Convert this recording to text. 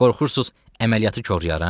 Qorxursuz əməliyyatı korlayaram?